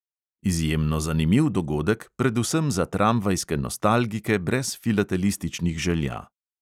Izjemno zanimiv dogodek, predvsem za tramvajske nostalgike brez filatelističnih želja.